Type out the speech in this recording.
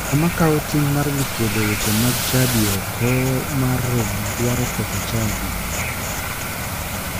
Ng'ama kawo ting' mar dhi kuodho weche mag chadi oko mar romo dwaro ketho chadi.